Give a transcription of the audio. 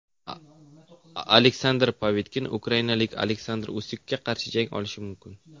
Aleksandr Povetkin ukrainalik Oleksandr Usikka qarshi jang qilishi mumkin.